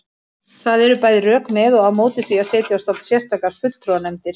Það eru bæði rök með og á móti því að setja á stofn sérstakar fulltrúanefndir.